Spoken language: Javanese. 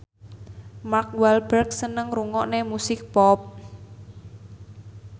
Mark Walberg seneng ngrungokne musik pop